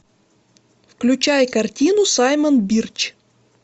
включай картину саймон бирч